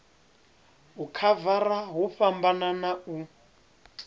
u khavara hu fhambana u